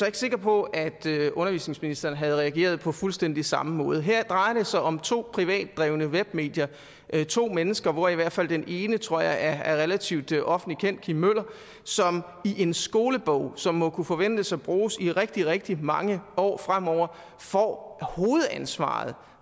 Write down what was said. ikke sikker på at undervisningsministeren havde reageret på fuldstændig samme måde her drejer det sig om to privatdrevne webmedier to mennesker hvor i hvert fald den ene tror jeg er relativt offentligt kendt kim møller som i en skolebog som må kunne forventes at blive brugt i rigtig rigtig mange år fremover får hovedansvaret